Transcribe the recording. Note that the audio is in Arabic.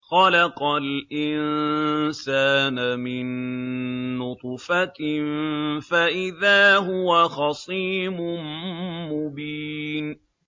خَلَقَ الْإِنسَانَ مِن نُّطْفَةٍ فَإِذَا هُوَ خَصِيمٌ مُّبِينٌ